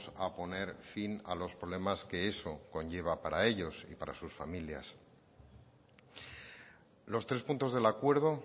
a poner fin a los problemas que eso conlleva para ellos y para sus familias los tres puntos del acuerdo